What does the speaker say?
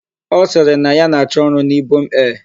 Ọ sịrị na ya na-achọ ọrụ n'Ibom Air